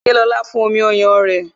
Ṣé lóla fún omi ọyàn rẹ?